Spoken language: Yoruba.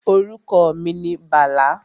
Orúkọ mi ni Bàlá